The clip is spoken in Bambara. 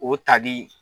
O tali